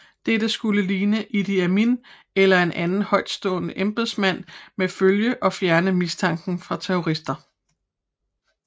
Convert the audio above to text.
Dette skulle ligne Idi Amin eller en anden højtstående embedsmand med følge og fjerne mistanke fra terrorister